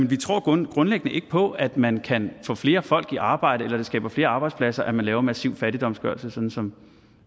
vi tror grundlæggende ikke på at man kan få flere folk i arbejde eller at det skaber flere arbejdspladser at man laver massiv fattigdomsgørelse sådan som